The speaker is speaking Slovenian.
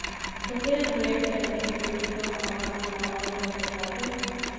Katere projekte, ki že potekajo na uradu, nameravate obdržati?